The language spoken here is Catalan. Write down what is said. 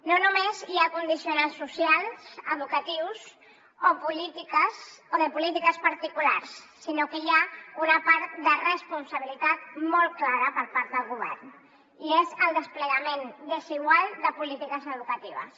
no només hi ha condicionants socials educatius o de polítiques particulars sinó que hi ha una part de responsabilitat molt clara per part del govern i és el desplegament desigual de polítiques educatives